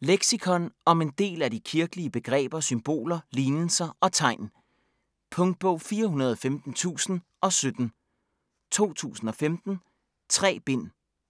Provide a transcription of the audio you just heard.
Leksikon om en del af de kirkelige begreber, symboler, lignelser og tegn. Punktbog 415017 2015. 3 bind.